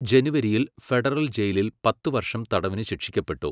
ജനുവരിയിൽ ഫെഡറൽ ജയിലിൽ പത്ത് വർഷം തടവിന് ശിക്ഷിക്കപ്പെട്ടു.